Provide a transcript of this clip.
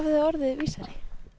þið orðið vísari